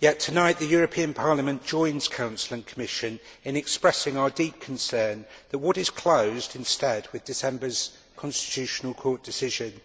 Yet tonight Parliament joins Council and Commission in expressing our deep concern that what is closed instead with December's Constitutional Court decision